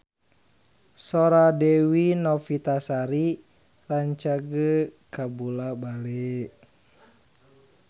Sora Dewi Novitasari rancage kabula-bale